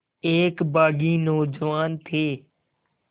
एक बाग़ी नौजवान थे